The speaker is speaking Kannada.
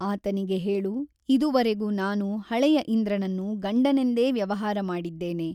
ಆತನಿಗೆ ಹೇಳು ಇದುವರೆಗೂ ನಾನು ಹಳೆಯ ಇಂದ್ರನನ್ನು ಗಂಡನೆಂದೇ ವ್ಯವಹಾರ ಮಾಡಿದ್ದೇನೆ.